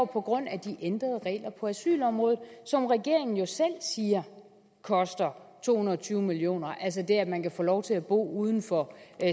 på grund af de ændrede regler på asylområdet som regeringen jo selv siger koster to hundrede og tyve million kr altså det at man kan få lov til at bo uden for